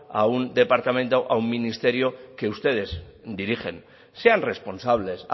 a un departamento o un ministerio que ustedes dirigen sean responsables